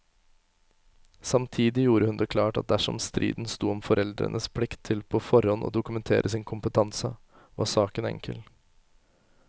Samtidig gjorde hun det klart at dersom striden sto om foreldrenes plikt til på forhånd å dokumentere sin kompetanse, var saken enkel.